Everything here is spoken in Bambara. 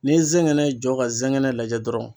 Ni zɛngɛnɛ jɔ ka zɛgɛnɛ lajɛ dɔrɔn.